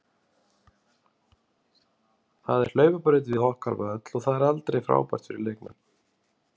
Það er hlaupabraut við okkar völl og það er aldrei frábært fyrir leikmenn.